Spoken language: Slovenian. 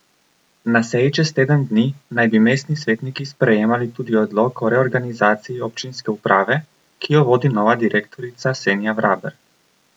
Na seji čez teden dni naj bi mestni svetniki sprejemali tudi odlok o reorganizaciji občinske uprave, ki jo vodi nova direktorica Senja Vraber.